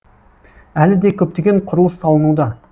әлі де көптеген құрылыс салынуда